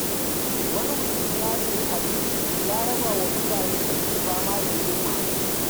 Wani mutum ya sayi abinci ya raba wa mutanen da ke fama da yunwa.